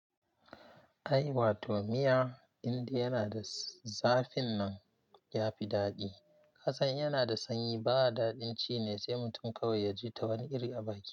Ai wato miya indai yana da zafin nan ya fi daɗi. Kasan in yana da sanyi ba daɗin ci ne sai mutum kawai ya ji ta wani iri a baki.